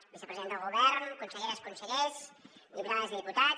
vicepresident del govern conselleres consellers diputades i diputats